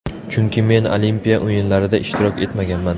Chunki men Olimpiya o‘yinlarida ishtirok etmaganman.